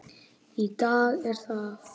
Í dag er það